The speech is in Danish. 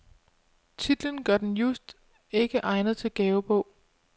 Titlen gør den just ikke egnet til gavebog.